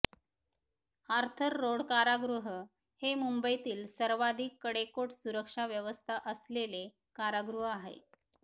Arthur Road कारागृह हे मुंबईतील सर्वाधिक कडेकोट सुरक्षा व्यवस्था असलेले कारागृह आहे